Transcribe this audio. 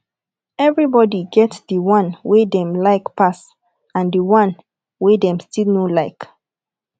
everybody get the one wey dem like pass and the one wey them still no like